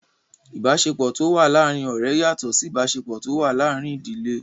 Ìbáṣepọ̀ tó wà láàrin ọ̀rẹ́ yàtọ̀ Sí ìbáṣepọ̀ tó wà láàrin ìdílé.